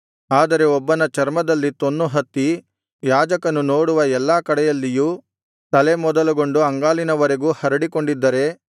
ಆದರೆ ಒಬ್ಬನ ಚರ್ಮದಲ್ಲಿ ತೊನ್ನು ಹತ್ತಿ ಯಾಜಕನು ನೋಡುವ ಎಲ್ಲಾ ಕಡೆಯಲ್ಲಿಯೂ ತಲೆ ಮೊದಲುಗೊಂಡು ಅಂಗಾಲಿನವರೆಗೂ ಹರಡಿಕೊಂಡಿದ್ದರೆ